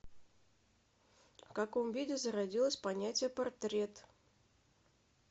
в каком виде зародилось понятие портрет